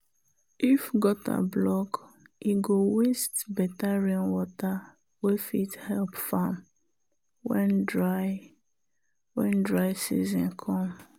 if gutter block e go waste better rainwater wey fit help farm when dry when dry season come.